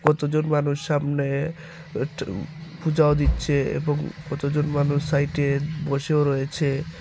কত জন মানুষ সামনে ট পূজাও দিচ্ছে এবং কত জন মানুষ সাইটে বসেও রয়েছে।